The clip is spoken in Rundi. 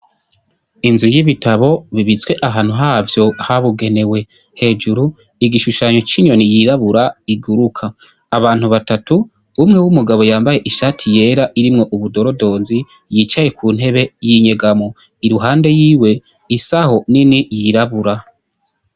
Inzu y'ibitabo bibitswe ahantu havyo habigenewe. Hejuru, igishushanyo c'inyoni yirabura iguruka. Abantu batatu, umwe w'umugabo yambaye yera irimwo ubudorodonzi, yicaye ku ntebe y'inyegamo. Iruhande yiwe, isaho nini yirabura.